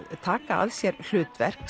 taka að sér hlutverk